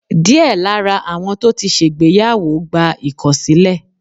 diẹ Lara awọn to tí ṣègbéyàwó, gba ikọsilẹ